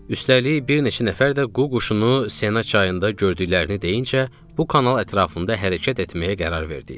Üstəlik, bir neçə nəfər də qu quşunu Sena çayında gördüklərini deyincə, bu kanal ətrafında hərəkət etməyə qərar verdik.